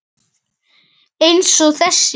Jóhann: Eins og þessi?